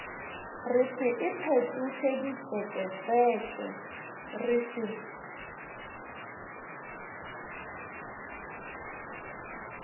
re se iphetošeditseketseke re se